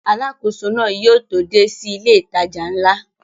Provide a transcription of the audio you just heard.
Alákóso náà yóò tó dé sí ilé ìtajà ńlá